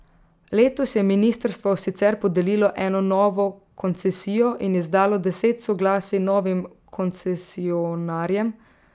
Letos je ministrstvo sicer podelilo eno novo koncesijo in izdalo deset soglasij novim koncesionarjem.